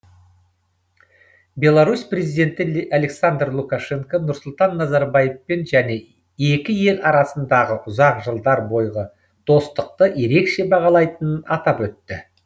беларусь президенті александр лукашенко нұрсұлтан назарбаевпен және екі ел арасындағы ұзақ жылдар бойғы достықты ерекше бағалайтынын атап өтті